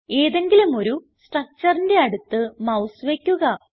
ഏതെങ്കിലും ഒരു structureന്റെ അടുത്ത് മൌസ് വയ്ക്കുക